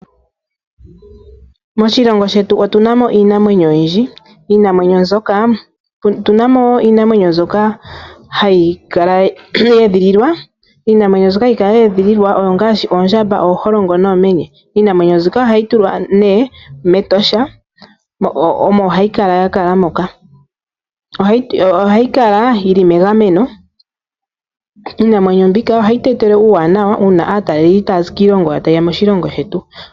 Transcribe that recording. Moshilongo shetu otuna mo iinamwenyo oyindji. Otuna mo iinamwenyo mbyoka hayi kala ye edhililwa. Iinamwenyo mbyoka hayi kala ye edhililwa ongaashi ooholongo noomenye. Iinamwenyo ndjika ohayi tulwa nee mEtosha omo hayi kala ya kala moka. Ohayi kala yili megameno. Iinamwenyo mbika ohayi tu etele uuwanawa una aataleli taye ya moshilongo shetu.